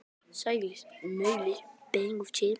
Hvað er svo fram undan?